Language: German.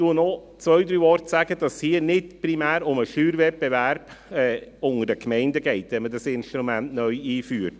Ich sage noch zwei, drei Worte dazu, dass es hier nicht primär um den Steuerwettbewerb zwischen den Gemeinden geht, wenn man dieses Instrument neu einführt.